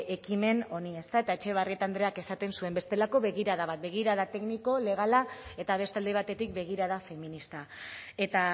ekimen honi ezta eta etxebarrieta andreak esaten zuen bestelako begirada bat begirada tekniko legala eta beste alde batetik begirada feminista eta